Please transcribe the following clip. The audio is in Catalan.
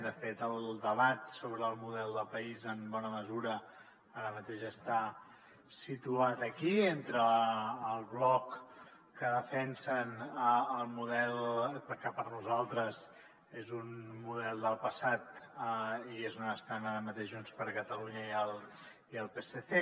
de fet el debat sobre el model de país en bona mesura ara mateix està situat aquí entre el bloc que defensen el model que per nosaltres és un model del passat i és on estan ara mateix junts per catalunya i el psc